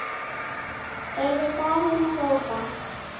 heyrði Daðína hrópað.